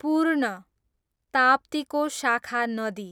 पूर्ण, ताप्तीको शाखा नदी